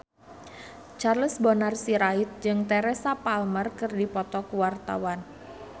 Charles Bonar Sirait jeung Teresa Palmer keur dipoto ku wartawan